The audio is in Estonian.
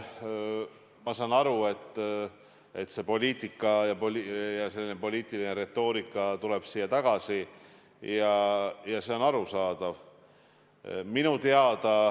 Ma saan aru, et poliitika ja selline poliitiline retoorika tuleb siia tagasi, ja see on arusaadav.